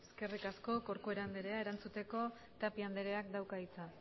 eskerrik asko corcuera anderea erantzuteko tapia andereak dauka hitza